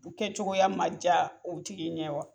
U kɛ cogoya ma ja o tigi ɲɛ wa ?